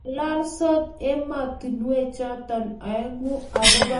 Ngalalsot ematinwek choto aengu agoba kachutishiet----